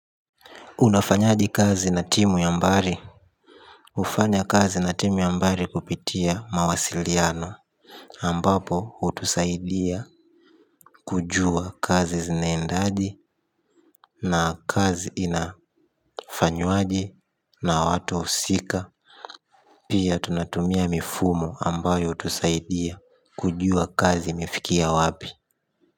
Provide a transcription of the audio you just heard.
Unafanyaje kazi na timu ya mbari. Ufanya kazi na timu ya mbari kupitia mawasiliano ambapo hutusaidia kujua kazi zinaendaje. Na kazi inafanywaje na watu usika. Pia tunatumia mifumo ambayo utusaidia kujua kazi imefikia wapi.